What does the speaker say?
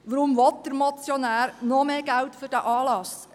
Weshalb will der Motionär noch mehr Geld für diesen Anlass?